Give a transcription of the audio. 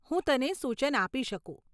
હું તને સૂચન આપી શકું.